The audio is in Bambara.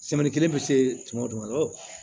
kelen bɛ se tuma dɔ la